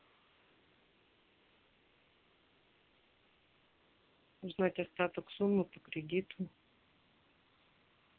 узнать остаток суммы по кредиту